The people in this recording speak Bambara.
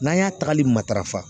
N'an y'a tagali matarafa